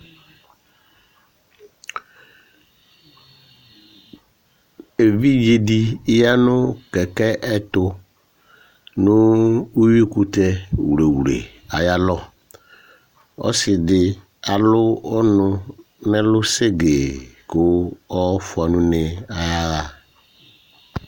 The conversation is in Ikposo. Evidze di yanʋ kɛkɛ ɛtu nʋ ʋwʋi kʋtɛ wlewle ayʋ alɔ Ɔsi di alʋ ɔnʋ nʋ ɛlu segee kʋ ɔfʋa nʋ ʋne ɔyaha